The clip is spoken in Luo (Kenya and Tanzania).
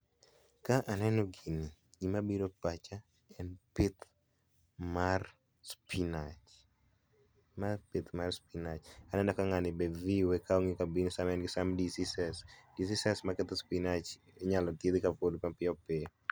Kaka aneno gini gima biro e pacha en pith mar spinach ma pith mar spinach aneno ka ngani e view e ka ka be en gi some diseases, diseases maketho spinach inyalo thiedh kapod mapiyo piyo.